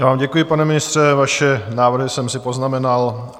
Já vám děkuji, pane ministře, vaše návrhy jsem si poznamenal.